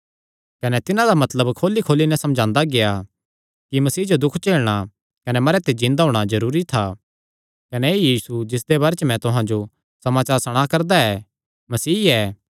कने तिन्हां दा मतलब खोलीखोली नैं समझांदा गेआ कि मसीह जो दुख झेलणा कने मरेयां च जिन्दा होणा जरूरी था कने ऐई यीशु जिसदे बारे च मैं तुहां जो समाचार सणा करदा ऐ मसीह ऐ